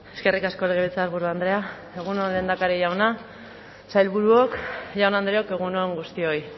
eskerrik asko legebiltzarburu andrea egun on lehendakari jauna sailburuok jaun andreok egun on guztioi